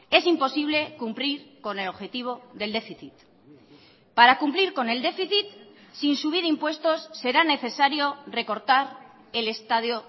es imposible cumplir con el objetivo del déficit para cumplir con el déficit sin subir impuestos será necesario recortar el estado